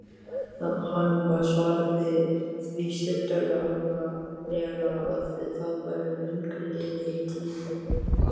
Hann svaraði því stuttaralega að það væri löngu liðin tíð.